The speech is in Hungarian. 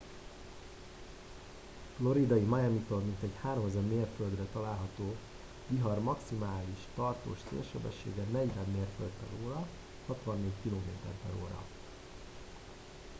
a floridai miamitól mintegy 3000 mérföldre található vihar maximális tartós szélsebessége 40 mérföld/h 64 km/h